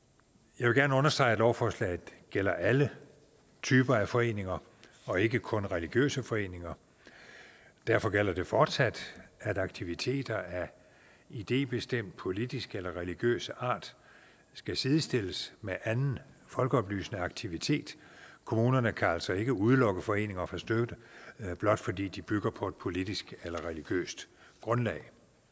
jeg vil gerne understrege at lovforslaget gælder alle typer af foreninger og ikke kun religiøse foreninger derfor gælder det fortsat at aktiviteter af idébestemt politisk eller religiøs art skal sidestilles med anden folkeoplysende aktivitet kommunerne kan altså ikke udelukke foreninger fra støtte blot fordi de bygger på et politisk eller religiøst grundlag